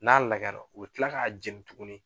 N'a lagɛra u bɛ kila k'a jɛni tuguni